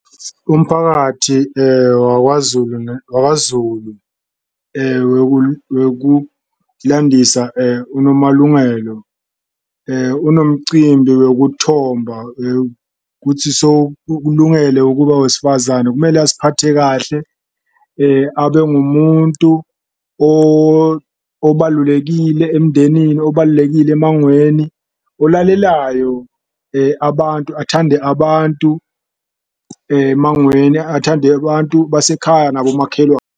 Umphakathi wakwaZulu wakwaZulu wekulandisa uNomalungelo unomcimbi wekuthoba kutsi ukulungele ukuba wesifazane, kumele aziphathe kahle. Abe ngumuntu obalulekile emndenini, obalulekile emangweni olalelayo abantu, athande abantu emangweni, athande abantu basekhaya, nabo .